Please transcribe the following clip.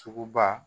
Sugu ba